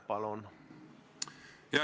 Palun!